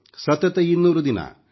ಸತತ 200 ದಿನ